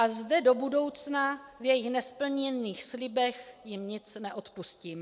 A zde do budoucna v jejich nesplněných slibech jim nic neodpustím.